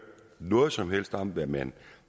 noget som helst om hvad man